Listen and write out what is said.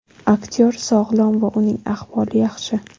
Aktyor sog‘lom va uning ahvoli yaxshi.